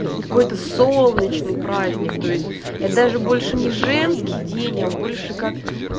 какой-то солнечный праздник то есть я даже больше не женский день а больше как